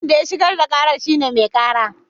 Wanda ya shigar da kara shine mai kara